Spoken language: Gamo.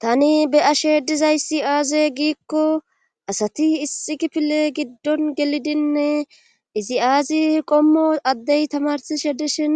tani be ashe dizayssi aaze giikko asati isxi kifile giddon gelidinne izi aazi qommo addey tamarsishe dishin